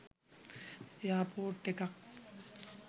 airport එකක්